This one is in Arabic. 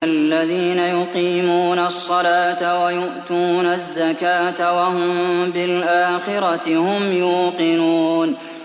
الَّذِينَ يُقِيمُونَ الصَّلَاةَ وَيُؤْتُونَ الزَّكَاةَ وَهُم بِالْآخِرَةِ هُمْ يُوقِنُونَ